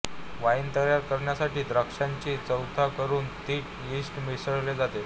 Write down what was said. wine तयार करण्यासाठी द्राक्षांचा चोथा करून त्यात यीस्ट मिसळले जाते